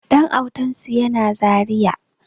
Ɗan autansu yana zaria